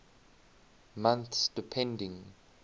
months depending